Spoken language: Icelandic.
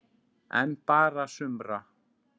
En bara sumra.